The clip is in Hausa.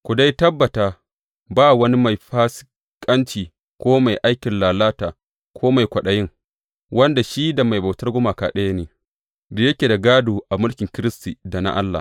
Ku dai tabbata, ba wani mai fasikanci, ko mai aikin lalata, ko mai kwaɗayin wanda shi da mai bautar gumaka ɗaya ne, da yake da gādo a mulkin Kiristi da na Allah.